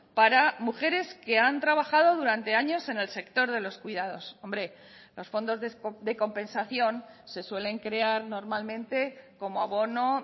para mujeres que han trabajado durante años en el sector de los cuidados hombre los fondos de compensación se suelen crear normalmente como abono